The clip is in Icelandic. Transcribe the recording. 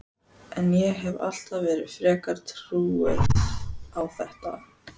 En ég hef alltaf verið frekar trúuð á þetta.